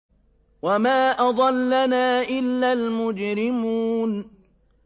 وَمَا أَضَلَّنَا إِلَّا الْمُجْرِمُونَ